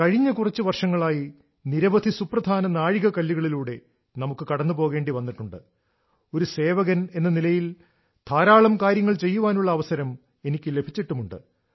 കഴിഞ്ഞ കുറച്ച് വർഷങ്ങളായി നിരവധി സുപ്രധാന നാഴികക്കല്ലുകളിലൂടെ നമുക്ക് കടന്നു പോകേണ്ടി വന്നിട്ടുണ്ട് ഒരു സേവകനെന്ന നിലയിൽ ധാരാളം കാര്യങ്ങൾ ചെയ്യാനുള്ള അവസരം എനിക്ക് ലഭിച്ചിട്ടുമുണ്ട്